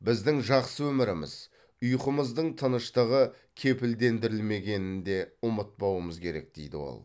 біздің жақсы өміріміз ұйқымыздың тыныштығы кепілдендірілмегенін де ұмытпауымыз керек дейді ол